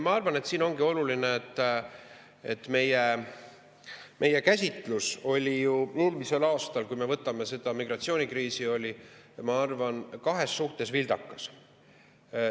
Ma arvan, et siin ongi oluline, et meie käsitlus oli eelmisel aastal, kui me võtame selle migratsioonikriisi, kahes suhtes vildakas.